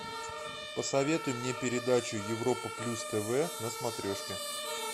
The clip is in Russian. посоветуй мне передачу европа плюс тв на смотрешке